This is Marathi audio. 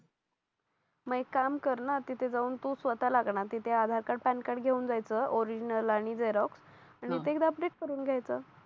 मग एक काम करना तिथे जाऊन तू स्वतःलाग ना तिथे आधार कार्ड पॅन कार्ड घेऊन जायचं ओरिजनल आणि झेरॉक् आणि ते एकदा अपडेट करून घ्यायचं